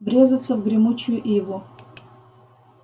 врезаться в гремучую иву